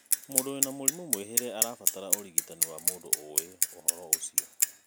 mũndũ wina mũrimũ mwĩhĩre arabatara ũrigitani wa mũndũ ũi ũhoro ũcio.